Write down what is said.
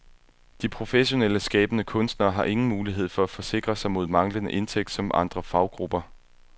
De professionelle skabende kunstnere har ingen mulighed for at forsikre sig mod manglende indtægt som andre faggrupper.